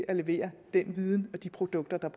kan levere den viden og de produkter der